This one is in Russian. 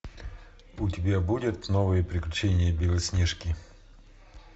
у тебя будет новые приключения белоснежки